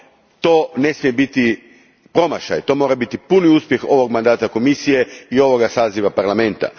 To ne smije biti promašaj, to mora biti puni uspjeh ovog mandata Komisije i ovog saziva Parlamenta.